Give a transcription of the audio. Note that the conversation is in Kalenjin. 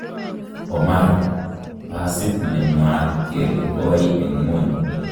Omar, busiit nemwaat kele koi en ng'ony.